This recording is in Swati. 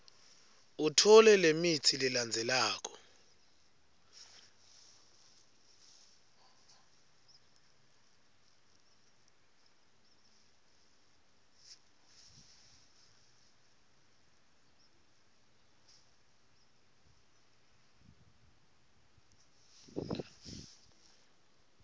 utfole lemitsi lelandzelako